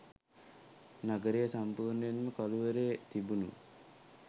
නගරය සම්පූර්ණයෙන්ම කළුවරේ තිබුණු